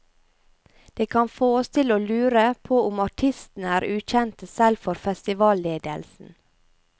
Det kan få oss til å lure på om artistene er ukjente selv for festivalledelsen.